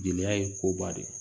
Jeliya ye koba de ye